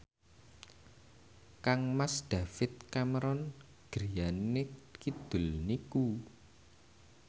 kangmas David Cameron griyane kidul niku